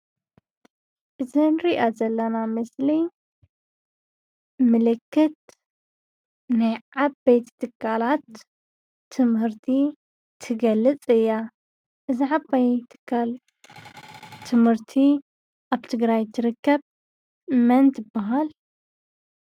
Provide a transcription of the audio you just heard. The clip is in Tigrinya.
እታ ንሪኣ ዘለና ምስሊ ምልክት ናይ ዓበይቲ ትካላት ትምህርቲ ትገልፅ እያ፡፡ እዛ ዓባይ ትካል ትምህርቲ ኣብ ትግራይ ትርከብ መን ትበሃል?